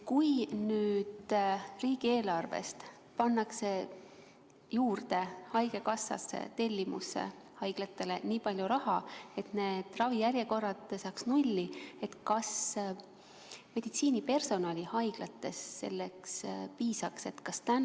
Kui riigieelarvest pandaks haigekassasse haiglate tellimusse juurde nii palju raha, et ravijärjekorrad saaks nulli, kas siis meditsiinipersonali haiglates piisaks?